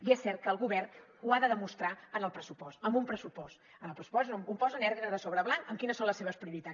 i és cert que el govern ho ha de demostrar en el pressupost amb un pressupost en el pressupost és on posa negre sobre blanc quines són les seves prioritats